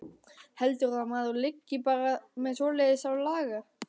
Heldurðu að maður liggi bara með svoleiðis á lager.